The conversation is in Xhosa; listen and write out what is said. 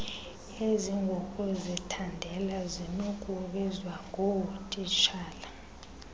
ezingokuzithandela zinokubizwa ngootitshala